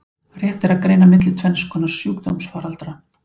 Rétt er að greina milli tvenns konar sjúkdómsfaraldra.